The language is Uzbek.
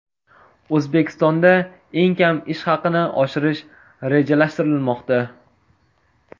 O‘zbekistonda eng kam ish haqini oshirish rejalashtirilmoqda.